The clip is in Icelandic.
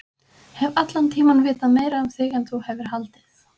Hef allan tímann vitað meira um þig en þú hefur haldið.